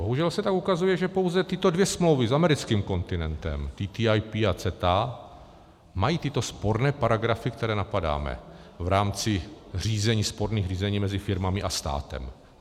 Bohužel se tam ukazuje, že pouze tyto dvě smlouvy s americkým kontinentem, TTIP a CETA, mají tyto sporné paragrafy, které napadáme v rámci řízení, sporných řízení mezi firmami a státem.